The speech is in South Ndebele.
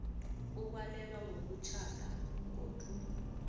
ukwalelwa kokutjhada godu